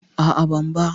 A'a, ban ba.